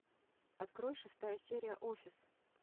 открой шестая серия офис